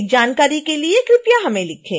अधिक जानकारी के लिए कृपया हमें लिखें